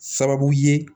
Sababu ye